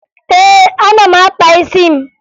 Ee, ana m akpa isi m